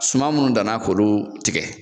Suman minnu danna k'olu tigɛ